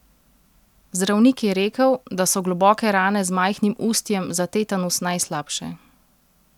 Zdravnik je rekel, da so globoke rane z majhnim ustjem za tetanus najslabše.